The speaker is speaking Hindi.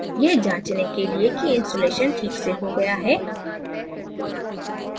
यह जाँचने के लिए कि installation ठीक से हो गया है